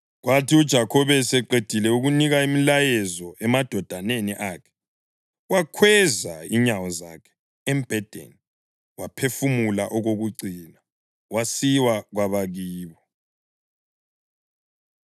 Kwathi uJakhobe eseqedile ukunika imilayezo emadodaneni akhe, wakhweza inyawo zakhe embhedeni, waphefumula okokucina, wasiwa kwabakibo.